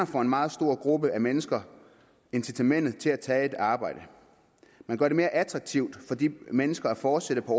for en meget stor gruppe af mennesker incitamentet til at tage et arbejde man gør det mere attraktivt for de mennesker at fortsætte på